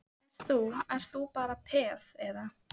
Ert þú, ert þú bara peð, eða?